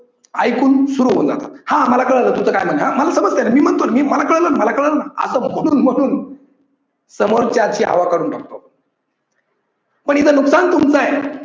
ऐकून सुरु होणं हा मला काळाल तुझ काय म्हणन आहे हा मी समजतो नं मी म्हणतो न मला काळाल न मला काळाल न अस म्हणून म्हणून समोरच्याची हवा काढून टाकतो आपण. पण इथं नुकसान कोणाच आहे